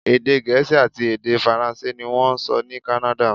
Èdè Gẹ̀ẹ́sì àti èdè Faransé ní wọ́n ń sọ ní Kánádà.